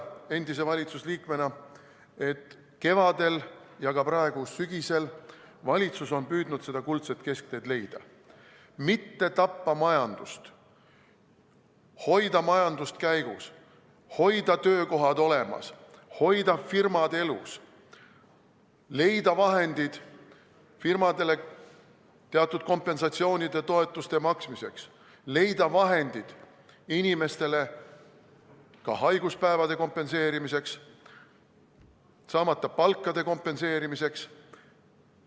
Endise valitsusliikmena julgen ma väita, et kevadel ja ka praegu, sügisel on valitsus püüdnud leida seda kuldset keskteed, mitte tappa majandust, hoida majandust käigus, hoida töökohad olemas, hoida firmad elus, leida vahendid firmadele teatud kompensatsioonide, toetuste maksmiseks, leida vahendid inimestele ka haiguspäevade kompenseerimiseks, saamata palkade kompenseerimiseks.